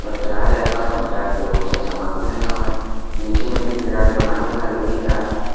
दराज रखा हुआ दराज में बहुत सारा सामान रखा हुआ है नीचे में भी एक दराज बना हुआ है एक लकड़ी का।